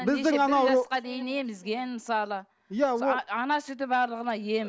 біздің анау дейін емізген мысалы иә ол ана сүті барлығына ем